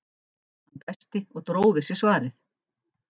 Hann dæsti og dró við sig svarið.